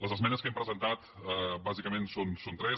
les esmenes que hem presentat bàsicament són tres